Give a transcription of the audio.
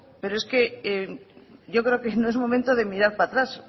pero es que yo creo que no es momento de mirar para atrás